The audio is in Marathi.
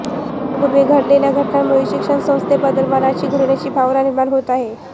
काही दिवसांपूर्वी घडलेल्या घटनांमुळे शिक्षणसंस्थेबद्दल मनात घृणेची भावना निर्माण होत आहे